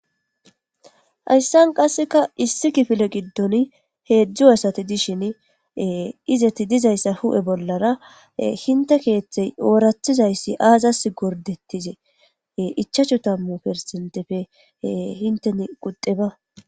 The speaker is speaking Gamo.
Hayssan qasseka issi kifile giddon heedzdzu asati dishin izeti dizayssa hu7e bollara hinte keeththey oorathizayssi aazas gordetizee ichachu tammu persentepfe hinten qudeba